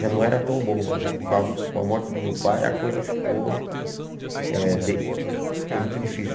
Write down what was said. Já não era tão bom, mas com a com a morte do meu pai, a coisa ficou eh de ficou muito difícil.